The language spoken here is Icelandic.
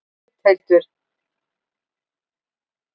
Gauthildur, slökktu á þessu eftir áttatíu og eina mínútur.